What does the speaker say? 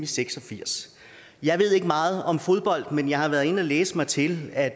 seks og firs jeg ved ikke meget om fodbold men jeg har været inde at læse mig til at